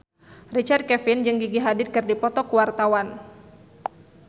Richard Kevin jeung Gigi Hadid keur dipoto ku wartawan